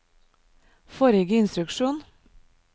forrige instruksjon